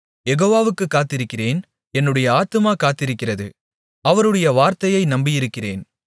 யெகோவாவுக்குக் காத்திருக்கிறேன் என்னுடைய ஆத்துமா காத்திருக்கிறது அவருடைய வார்த்தையை நம்பியிருக்கிறேன்